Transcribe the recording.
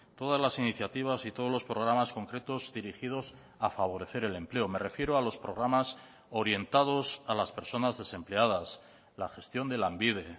todas las iniciativas y todos los programas concretos dirigidos a favorecer el empleo me refiero a los programas orientados a las personas desempleadas la gestión de lanbide